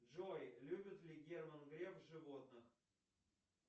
джой любит ли герман греф животных